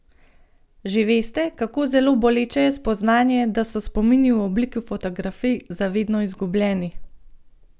Že veste, kako zelo boleče je spoznanje, da so spomini v obliki fotografij za vedno izgubljeni?